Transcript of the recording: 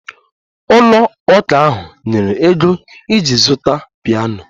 Ụlọ ụka ahụ nyere ego iji zụta piano